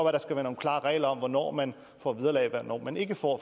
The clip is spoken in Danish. at der skal være nogle klarere regler om hvornår man får vederlag og hvornår man ikke får